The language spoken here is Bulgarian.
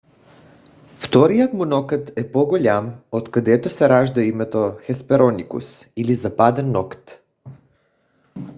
вторият му нокът е по-голям откъдето се ражда името хеспероникус или западен нокът